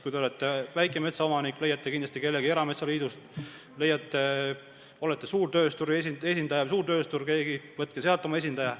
Kui te olete väikemetsaomanik, leiate ehk kellegi erametsaliidust, kui olete suurtööstuse esindaja või suurtööstur, leidke oma esindaja.